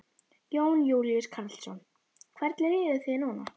Jón Júlíus Karlsson: Hvernig líður þér núna?